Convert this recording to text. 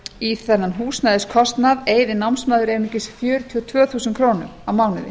í þennan húsnæðiskostnað eyði námsmaður einungis fjörutíu og tvö þúsund krónur á mánuði